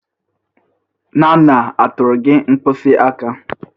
Nana atụtụrụ gị mkpịsị aka?